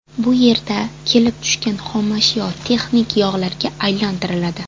Bu yerda kelib tushgan xomashyo texnik yog‘larga aylantiriladi.